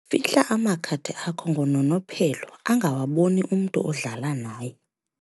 Fihla amakhadi akho ngononophelo angawaboni umntu odlala naye.